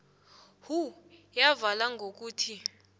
who yavala ngokuthi